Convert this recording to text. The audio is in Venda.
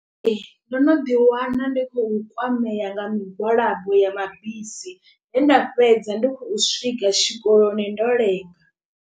Ndo no ḓi wana ndi khou kwamea nga migwalabo ya mabisi he nda fhedza ndi khou swika tshikoloni ndo lenga.